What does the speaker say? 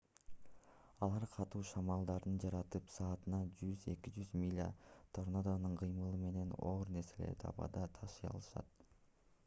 алар катуу шамалдарды жаратып саатына 100–200 миля торнадонун кыймылы менен оор нерселерди абада ташый алышат